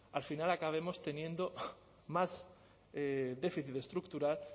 al final acabemos teniendo más déficit estructural